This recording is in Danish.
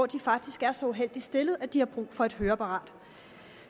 de faktisk er så uheldigt stillede at de har brug for et høreapparat